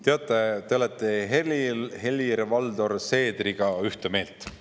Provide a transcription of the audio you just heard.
Teate, te olete Helir-Valdor Seedriga ühte meelt.